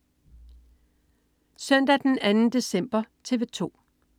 Søndag den 2. december - TV 2: